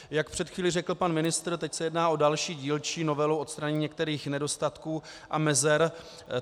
Jak před chvílí řekl pan ministr, teď se jedná o další dílčí novelu, odstranění některých nedostatků a mezer.